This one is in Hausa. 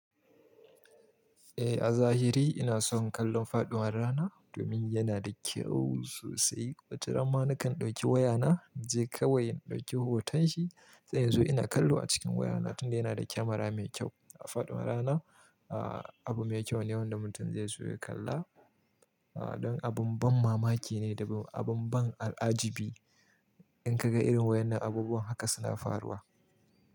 Eh, a zahiri ina son kallon faɗuwar rana domin yana da kyau sosai. Wataran nakan ɗauki wayana, je kawai in ɗauki hoton shi. Sai inzo ina kallo acikin wayana tunda yana da Camera me kyau faduwar rana abu me kyau ne wanda mutum zaiso ya kalla don abun ban mamaki ne da abun ban al'ajibi. In ka ga irin wayoyin abubuwan haka suna faruwa.